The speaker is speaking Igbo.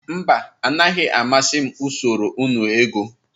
Mba, anaghị amasị m usoro nnu ego.